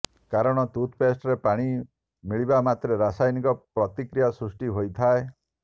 କାରଣ ଟୁଥ୍ପେଷ୍ଟରେ ପାଣି ମିଳିବା ମାତ୍ରେ ରାସାୟନିକ ପ୍ରତିକ୍ରିୟା ସୃଷ୍ଟି ହୋଇଥାଏ